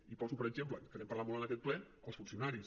i poso per exemple que n’hem parlar molt en aquest ple als funcionaris